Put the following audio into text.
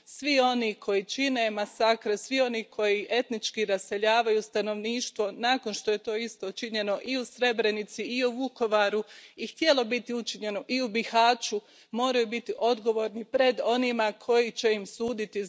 Svi oni koji čine masakr, svi oni koji etnički raseljavaju stanovništvo nakon što je to isto činjeno i u Srebrenici i u Vukovaru i htjelo biti učinjeno i u Bihaću, moraju biti odgovorni pred onima koji će im suditi.